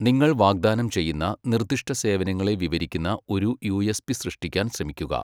നിങ്ങൾ വാഗ്ദാനം ചെയ്യുന്ന നിർദ്ദിഷ്ട സേവനങ്ങളെ വിവരിക്കുന്ന ഒരു യുഎസ്പി സൃഷ്ടിക്കാൻ ശ്രമിക്കുക.